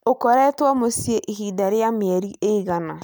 ũkoretwo mũciĩ ihinda rĩa mĩeri ĩigana?